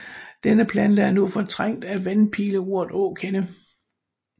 Denne plante er nu fortrængt af vandpileurt og åkande